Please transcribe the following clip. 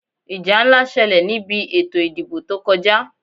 Ìjà ńlá ṣẹlẹ̀ ní bi ètò ìdìbò tó kọjá.